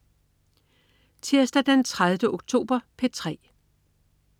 Tirsdag den 30. oktober - P3: